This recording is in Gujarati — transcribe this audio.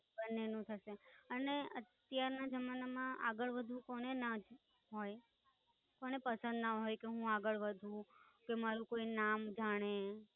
બંને નું થશે અને અત્યાર ના જમાના માં આગળ વધવું કોને ને ના હોય કોને પસંદ ના હોય કે હું આગળ વધુ કે મારુ કોઈ નામ જાણે